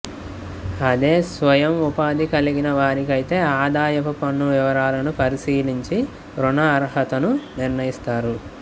అదే స్వయం ఉపాధి కలిగిన వారికైతే ఆదాయపు పన్నువివరాలను పరిశీలించి రుణ అర్హతను నిర్ణయిస్తారు